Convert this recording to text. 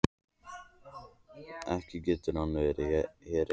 Ekki getur hún verið hér ein.